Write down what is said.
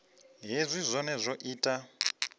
hezwi zwohe zwi o ita